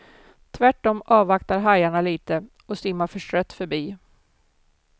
Tvärtom avvaktar hajarna lite och simmar förstrött förbi.